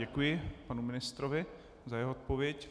Děkuji panu ministrovi za jeho odpověď.